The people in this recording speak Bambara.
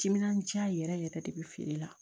Timinandiya yɛrɛ yɛrɛ yɛrɛ de bi feere la